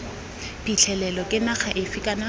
phitlhelelo ke naga efe kana